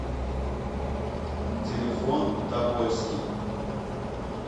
телефон тобольский